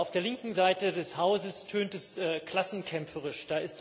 Auf der linken Seite des Hauses tönt es klassenkämpferisch.